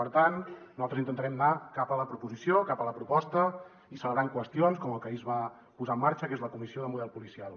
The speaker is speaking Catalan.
per tant nosaltres intentarem anar cap a la proposta i celebrar qüestions com la que ahir es va posar en marxa que és la comissió del model policial